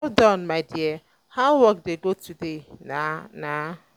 well done my dear how work dey go today um na na